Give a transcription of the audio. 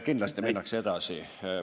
Kindlasti minnakse edasi.